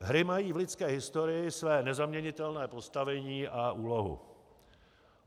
Hry mají v lidské historii své nezaměnitelné postavení a úlohu.